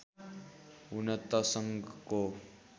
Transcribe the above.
हुन त सङ्घको